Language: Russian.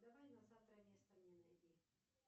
давай на завтра место мне найди